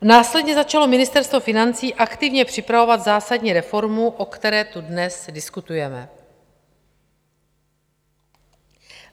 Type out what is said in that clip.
Následně začalo Ministerstvo financí aktivně připravovat zásadní reformu, o které tu dnes diskutujeme.